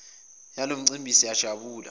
yalo mcimbi siyajabula